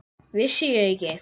Vissi ég ekki!